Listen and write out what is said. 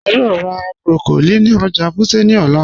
A yòò rá broccoli ní ọ̀jà Wuse ní òlà.